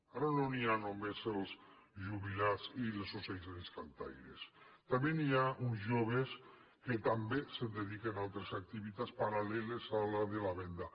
ara no hi ha només els jubilats i les associacions d’ocells cantaires també hi ha uns joves que també se dediquen a altres activitats paral·leles a la de la venda